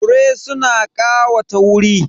Fure suna ƙawata wuri.